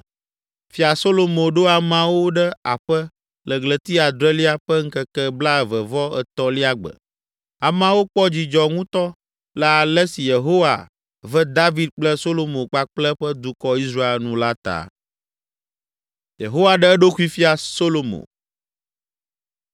Fia Solomo ɖo ameawo ɖe aƒe le ɣleti adrelia ƒe ŋkeke blaeve-vɔ-etɔ̃lia gbe. Ameawo kpɔ dzidzɔ ŋutɔ le ale si Yehowa ve David kple Solomo kpakple eƒe dukɔ, Israel nu la ta.